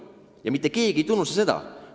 Ja mitte keegi ei tunnusta seda!